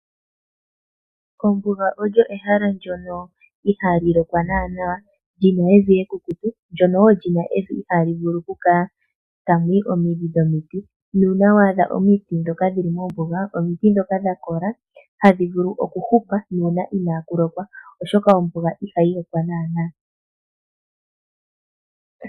Ombuga oyo ehala ndyono ihaa li lokwa naanaa, li na evi ekukutu ndyono wo li na evi ihaa li vulu okukala tamu yi omidhi dhomiti, nuuna wa adha omiti ndhoka dhili mombuga omiti ndhoka ndhoka dha kola hadhi vulu okuhupa nuuna inaa ku lokwa, oshoka ombuga ihayi lokwa naanaa.